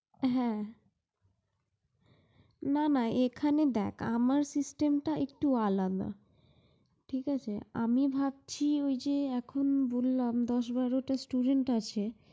হ্যাঁ। না না এখানে দেখ, আমার system টা একটু আলাদা ঠিক আছে। আমি ভাবছি ঐ যে এখন বললাম দশ বারোটা student আছে